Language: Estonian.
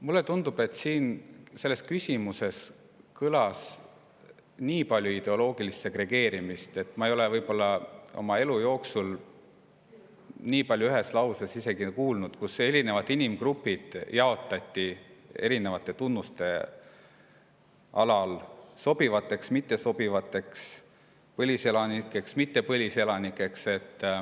Mulle tundub, et selles küsimuses kõlas nii palju ideoloogilist segregeerimist, et ma ei ole võib-olla oma elu jooksul enne kuulnud, et ühes lauses jaotatakse nii paljud inimesed erinevate tunnuste alusel sobivateks ja mittesobivateks, põliselanikeks ja mittepõliselanikeks.